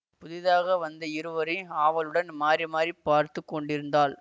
புதிதாக வந்த இருவரையும் ஆவலுடன் மாறி மாறி பார்த்து கொண்டிருந்தாள்